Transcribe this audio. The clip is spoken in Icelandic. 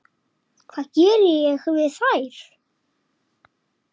Hvað ég geri við þær?